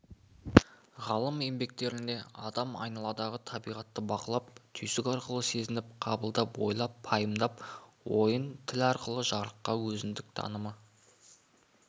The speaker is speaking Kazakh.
ғалым еңбектерінде адам айналадағы табиғатты бақылап түйсік арқылы сезініп қабылдап ойлап пайымдап ойын тіл арқылы жарыққа өзіндік танымы